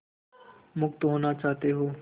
मुक्त होना चाहते हो